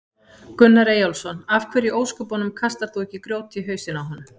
Gunnar Eyjólfsson: Af hverju í ósköpunum kastar þú ekki grjóti í hausinn á honum?